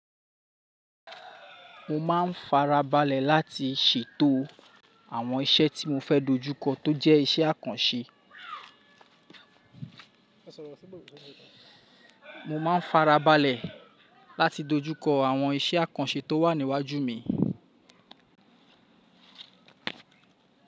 Mo máa ń fara balẹ̀ láti ṣètò àwọn iṣẹ́ tí mo fẹ́ dojúkọ tó jẹ́ iṣẹ́ àkànṣe. Mo máa ń fara balẹ̀ láti dojúkọ àwọn iṣẹ́ àkànṣe tó wà níwájú mi.